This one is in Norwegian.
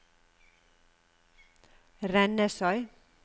Rennesøy